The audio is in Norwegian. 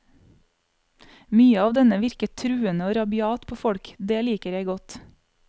Mye av denne virker truende og rabiat på folk, det liker jeg godt.